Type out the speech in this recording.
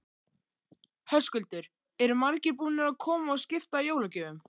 Höskuldur: Eru margir búnir að koma og skipta jólagjöfum?